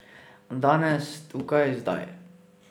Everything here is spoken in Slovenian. Danes, tukaj, zdaj!